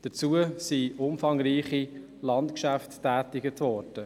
Dazu wurden umfangreiche Landgeschäfte getätigt.